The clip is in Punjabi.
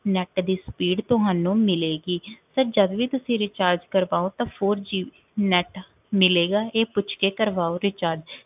Net ਦੀ speed ਤੁਹਾਨੂੰ ਮਿਲੇਗੀ sir ਜਦ ਵੀ ਤੁਸੀਂ recharge ਕਰਵਾਓ ਤਾਂ four G net ਮਿਲੇਗਾ, ਇਹ ਪੁੱਛਕੇ ਕਰਵਾਓ recharge